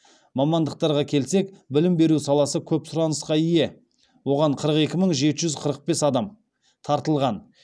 мамандықтарға келсек білім беру саласы көп сұранысқа ие оған қырық екі мың жеті жүз қырық бес адам тартылған